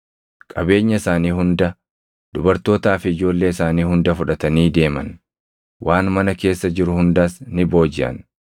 Qabeenya isaanii hunda, dubartootaa fi ijoollee isaanii hunda fudhatanii deeman; waan mana keessa jiru hundas ni boojiʼan.